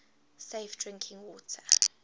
safe drinking water